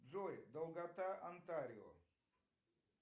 джой долгота онтарио